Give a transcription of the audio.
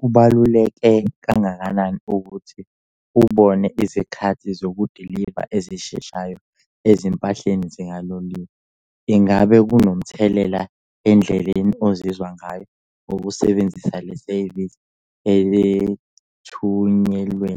Kubaluleke kangakanani ukuthi ubone izikhathi zokudiliva ezisheshayo ezimpahleni zikaloliwe? Ingabe kunomthelela endleleni ozizwa ngayo ukusebenzisa le sevisi ethunyelwe?